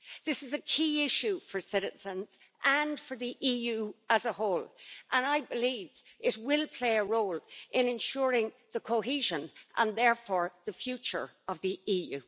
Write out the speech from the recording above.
This is a key issue for citizens and for the EU as a whole and I believe it will play a role in ensuring the cohesion, and therefore the future, of the EU.